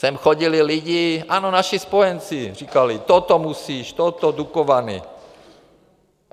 Sem chodili lidi, ano, naši spojenci, říkali: toto musíš, toto, Dukovany.